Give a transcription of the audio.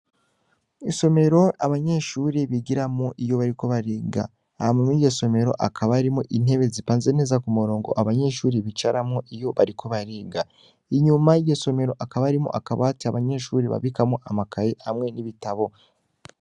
Isomero abanyeshure bigiramwo iyo bariko bariga hama mwiryo somero hakaba harimwo intebe zipanze neza kumurongo abanyeshure bicaramwo iyo bariko bariga inyuma yiryo somero hakaba harimwo akabati abanyeshure babikamwo amakaye hamwe n'ibitabo.